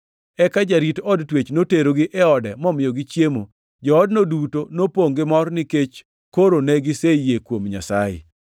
Eka jarit od twech noterogi e ode momiyogi chiemo. Joodno duto nopongʼ gi mor, nikech koro ne giseyie kuom Nyasaye.